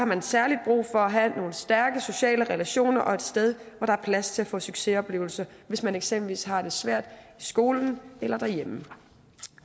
man særlig brug for at have nogle stærke sociale relationer og et sted hvor der er plads til at få succesoplevelser hvis man eksempelvis har det svært i skolen eller derhjemme